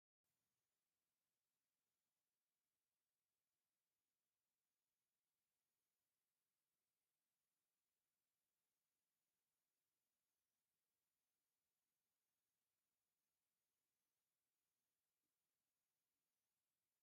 ካብ ናይ ኣዕዋፍ ዝራእቲ ዝኾነት ሓንቲ ጸላም ዳኪያ ዒፍ ኣብ ልዕሊ ማይ ክትዓርፍ ትረአ። ንነዊሕ እዋን ከም ዘዕረፈ፡ ናይ ሰላምን ቅሳነትን ስምዒት ይህብ።